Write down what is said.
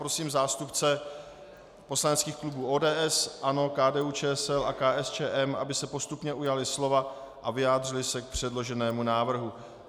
Prosím zástupce poslaneckých klubů ODS, ANO, KDU-ČSL a KSČM, aby se postupně ujali slova a vyjádřili se k předloženému návrhu.